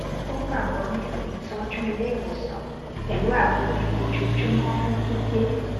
ó gbàgbọ nínú ìtọjú ilé ìwòsàn pẹlú àgbo mímu ojoojúmọ fún pípé